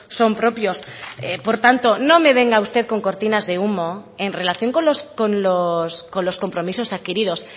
son propios por tanto no me venga usted con cortinas de humo en relación con los compromisos adquiridos